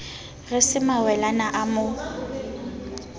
re se mawelana o mo